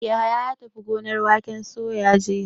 Yahaya ya tafi gonar waken soya jiya.